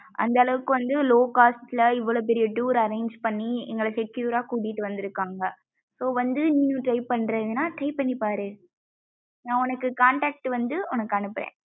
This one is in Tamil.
அந்த அளவுக்கு வந்து low cost ல இவ்வளவு பெரிய tour arrange பண்ணி எங்கள secure கூட்டிட்டு வந்துருக்காங்கா so வந்து நீயும் try பன்றதுனா try பண்ணி பாரு நா உனக்கு contect வந்து உனக்கு அனுப்புறேன்